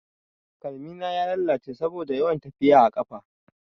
Kalmina ya lalace saboda yawan tafiya a ƙafa.